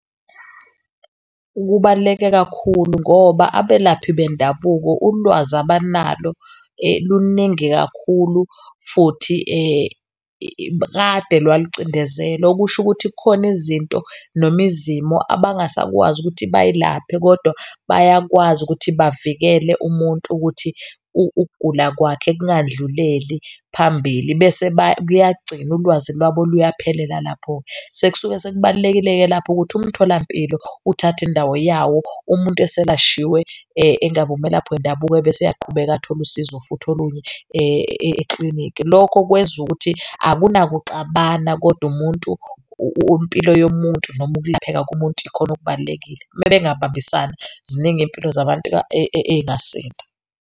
Kubaluleke kakhulu ngoba abelaphi bendabuko ulwazi abanalo luningi kakhulu futhi kade lwalucindezelwe, okusho ukuthi kukhona izinto noma izimo abangasakwazi ukuthi bayilaphe kodwa bayakwazi ukuthi bavikele umuntu ukuthi ukugula kwakhe kungandluleli phambili, bese kuyagcina ulwazi lwabo luyaphelela lapho-ke. Sekusuke sekubalulekile-ke lapho ukuthi umtholampilo uthathe indawo yawo umuntu eselashiwe engabe umelaphi wendabuko bese eyaqhubeka athole usizo futhi olunye eklinikhi. Lokho kwenza ukuthi akunakuxabana kodwa umuntu, impilo yomuntu nokulapheka kumuntu ikhona okubalulekile. Uma bengabambisana, ziningi izimpilo zabantu ey'ngasinda.